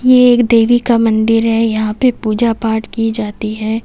ये एक देवी का मंदिर है यहां पे पूजा पाठ की जाती है।